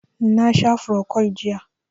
Na sha frocod jiya